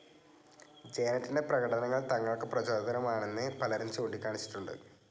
ജാനറ്റിന്റെ പ്രകടനങ്ങൾ തങ്ങൾക്ക് പ്രചോദനമാണെന്ന് പലരും ചൂണ്ടിക്കാണിച്ചിട്ടുണ്ട്.